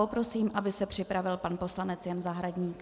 Poprosím, aby se připravil pan poslanec Jan Zahradník.